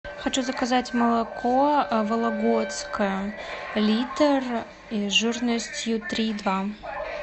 хочу заказать молоко вологодское литр жирностью три и два